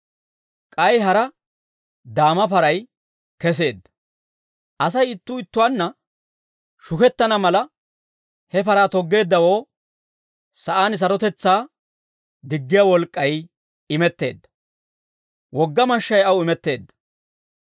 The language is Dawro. K'ay hara daama paray keseedda. Asay ittuu ittuwaanna shukettana mala, he paraa toggeeddawoo sa'aan sarotetsaa diggiyaa wolk'k'ay imetteedda. Wogga mashshay aw imetteedda.